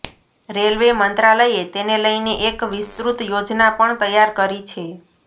railway મંત્રાલયે તેને લઈને એક વિસ્તૃત યોજના પણ તૈયાર કરી છે